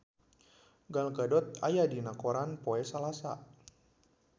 Gal Gadot aya dina koran poe Salasa